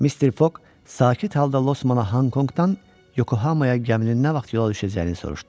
Mister Foq sakit halda Losmana Honkonqdan Yokohamaya gəminin nə vaxt yola düşəcəyini soruşdu.